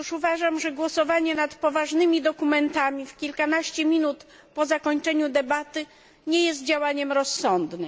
Otóż uważam, że głosowanie nad poważnymi dokumentami w kilkanaście minut po zakończeniu debaty nie jest działaniem rozsądnym.